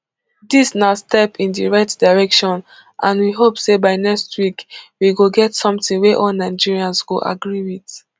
dis na step in di right direction and we hope say by next week we go get something wey all nigerians go agree wit